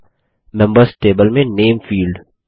अगला members table में name field